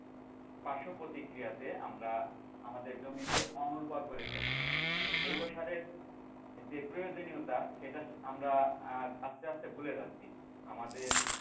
পার্শ্ব প্রতিক্রিয়াতে আমরা আমাদের জমিকে অনুর্বর করে ফেলছি তো জৈব সারের যে প্রয়োজনীয়তা সেটা আমরা আ আস্তে আস্তে ভুলে যাচ্ছি আমাদের,